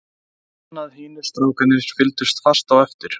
Hann fann að hinir strákarnir fylgdu fast á eftir.